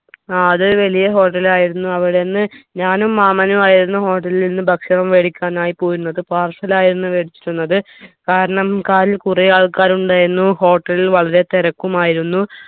ആ അത് ഒരു വലിയ hotel ആയിരുന്നു അവിടുന്ന് ഞാനും മാമനും ആയിരുന്നു hotel ൽ നിന്ന് ഭക്ഷണം വേടിക്കാനായി പോയിരുന്നത് parcel ആയിരുന്നു വേടിച്ചിരുന്നത് കാരണം car ൽ കുറെ ആൾക്കാർ ഉണ്ടായിരുന്നു hotel ൽ വളരെ തിരക്കുമായിരുന്നു